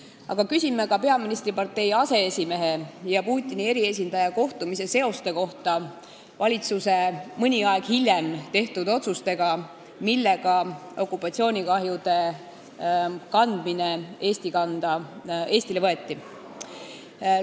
Aga küsime ka peaministripartei aseesimehe ja Putini eriesindaja kohtumise seoste kohta valitsuse mõni aeg hiljem tehtud otsustega, millega okupatsioonikahjude kandmine Eesti kanda võeti.